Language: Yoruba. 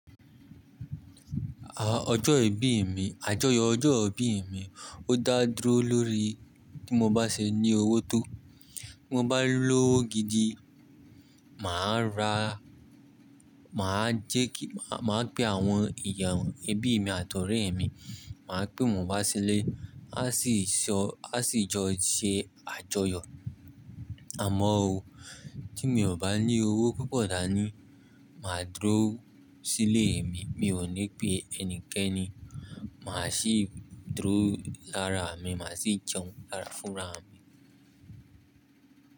Ọjọ ìbí mi, àjọyọ̀ ọjọ́ ìbí mi ó dá dúró lórí tí mo bá ṣe ní owó tó. Mo bá lówó gidi, mà á ra, mà á jẹ ki-- mà má pe àwọn ìyàwó ẹbí mi àti ọ̀rẹ́ mi, mà á pé wọ́n wá sílé, a sì so-- a sì jọ ṣe àjọyọ̀. Àmọ́ o tí mi ò bá ní owó púpọ̀ dá ní, mà á dúró sílé mi, mi ò ní pé ẹnikẹ́ni. Mà á sì dúró lára mi, mà á sì jẹun lára fúnra mi.